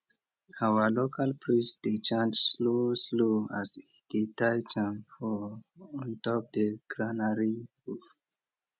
our local priest dey chant slow slow as e dey tie charm for on top the granary roof